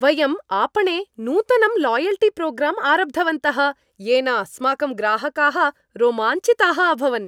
वयम् आपणे नूतनं लायल्टीप्रोग्राम् आरब्धवन्तः येन अस्माकं ग्राहकाः रोमाञ्चिताः अभवन्।